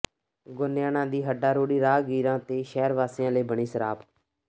ਗੋਨਿਆਣਾ ਦੀ ਹੱਡਾਰੋੜੀ ਰਾਹਗੀਰਾਂ ਤੇ ਸ਼ਹਿਰ ਵਾਸੀਆਂ ਲਈ ਬਣੀ ਸਰਾਪ